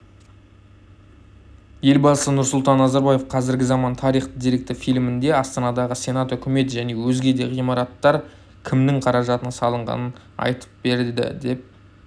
елбасы нұрсұлтан назарбаев қазіргі заман тариіы деректі фильмінде астанадағы сенат үкімет және өзге де ғимараттар кімнің қаражатына салынғанын айтып берді деп